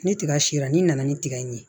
Ni tiga sera ni nana ni tigɛ in ye